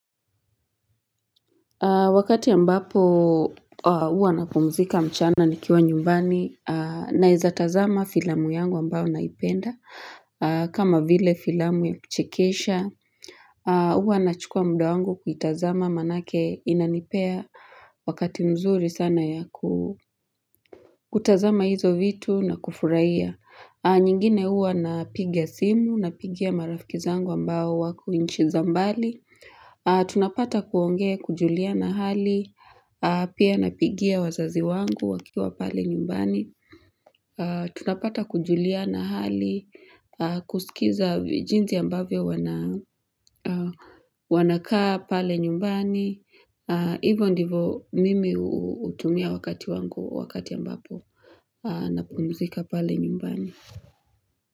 Wakati ambapo huwa napumzika mchana nikiwa nyumbani naeza tazama filamu yangu ambao naipenda. Kama vile filamu ya kuchekesha. Huwa na chukua mda wangu kuitazama manake inanipea. Wakati mzuri sana ya kutazama hizo vitu na kufurahia. Nyingine huwa napiga simu na pigia marafiki zangu ambao wako nchi za mbali. Tunapata kuongea kujuliana hali pia napigia wazazi wangu wakiwa pale nyumbani tunapata kujulia na hali kusikiza jinsi ambavyo wana kaa pale nyumbani hivo ndivo mimi hutumia wakati wangu wakati ambapo napumzika pale nyumbani.